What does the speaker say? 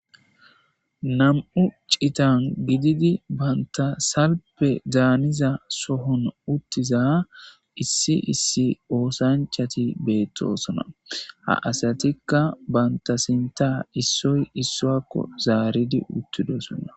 Na,mu ci,itan gididi bantha salfe daniza sohon utiza issi issi osanchati betosona ha asatika banta sintha isoyi isuwako zaridi utidosona